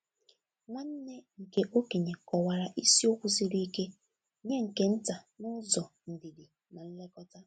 Nwanne nke okenye kọwara isiokwu siri ike nye nke nta n’ụzọ ndidi na nlekọta.